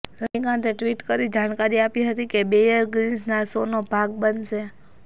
રજનીકાંતે tweet કરી જાણકારી આપી હતી કે બેયર ગ્રિલ્સના શોનો ભાગ બનશે